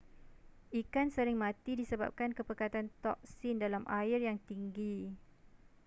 ikan sering mati disebabkan kepekatan toksin dalam air yang tinggi